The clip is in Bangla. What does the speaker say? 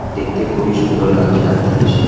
দেখতে খুবই সুন্দর লাগছে রাত্রিরে সেই--